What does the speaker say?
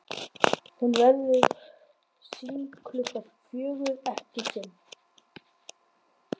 Hún verður sýnd klukkan fjögur, ekki fimm.